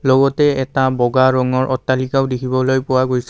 লগতে এটা বগা ৰঙৰ অট্টালিকাও দেখিবলৈ পোৱা গৈছে।